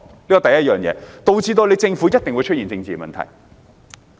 這是第一，導致政府一定出現政治問題。